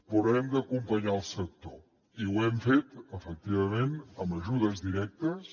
però hem d’acompanyar el sector i ho hem fet efectivament amb ajudes directes